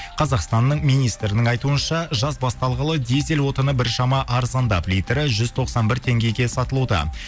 қазақстанның министрінің айтуынша жаз басталғалы дизель отыны біршама арзандап литрі жүз тоқсан бір теңгеге сатылуда